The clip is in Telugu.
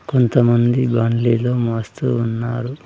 కొంతమంది బండిలు మోస్తూ ఉన్నారు.